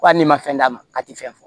Ko hali n'i ma fɛn d'a ma a tɛ fɛn fɔ